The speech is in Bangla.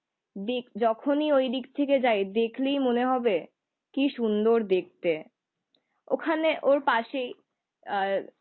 দিক যখনি ওইদিক থেকে যাই দেখলেই মনে হবে কি সুন্দর দেখতে। ওখানে ওর পাশেই আহ